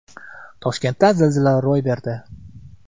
Toshkentda zilzila ro‘y berdi.